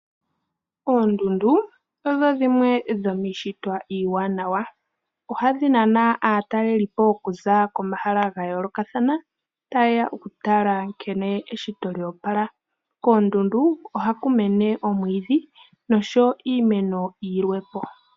Oondundu odho dhimwe dhomiishitwa iiwanawa ohadhi nana aatalelipo okuza komahala ga yoolokathana taye ya okutala nkene eshito lyoopala. Koondundu oha ku mene omwiidhi noshowo iimeno yilwepo.